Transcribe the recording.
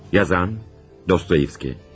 Yazan, Dostoyevski.